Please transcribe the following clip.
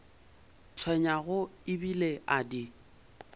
tshwenyago e bile a di